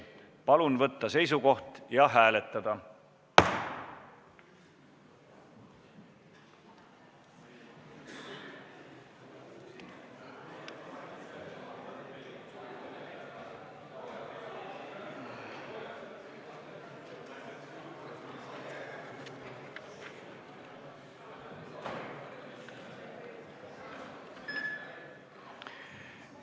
Palun võtta seisukoht ja hääletada!